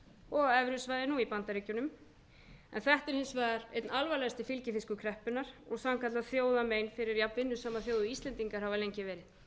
og á evrusvæðinu og í bandaríkjunum en eitt er hins vegar einn alvarlegasti fylgifiskur kreppunnar og sannkallað þjóðarmein fyrir jafnvinnusama þjóð og íslendingar hafa lengi verið þó að þessar tölur sýni